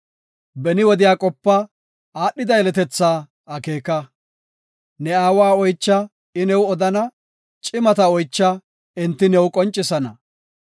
Beni wodiya qopa; aadhida yeletethaa akeeka. Ne aawa oycha; I new odana; cimata oycha; enti new qoncisana.